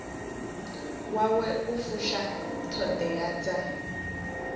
wawe u fusha ṱhoḓea dza